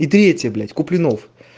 и третье блять куплинов